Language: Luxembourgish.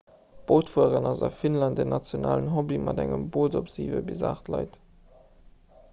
bootfueren ass a finnland en nationalen hobby mat engem boot op siwe bis aacht leit